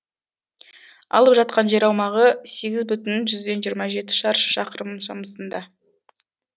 алып жатқан жер аумағы сегіз бүтін жүзден жиырма жеті шаршы шақырым шамасында